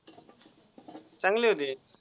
चांगले होते.